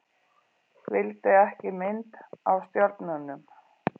Vildi ekki mynd af stjörnunum